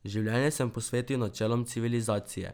Življenje sem posvetil načelom civilizacije.